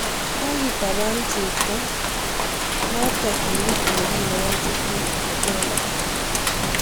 Kogitaban cheptoo notokak kimut ole kinyae che tinye Ebola